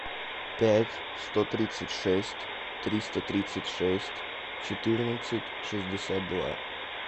пять сто тридцать шесть триста тридцать шесть четырнадцать шестьдесят два